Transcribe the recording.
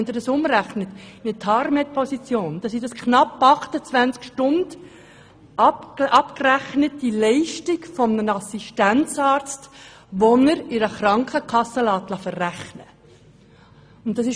Wenn Sie das in die Tarmedposition umrechnen, dann sind das knapp 28 Stunden, abzüglich der Leistungen des Assistenzarztes, die einer Krankenkasse verrechnet werden können.